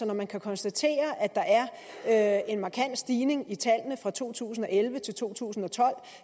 når man kan konstatere at der er en markant stigning i tallene fra to tusind og elleve til to tusind og tolv